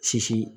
Sisi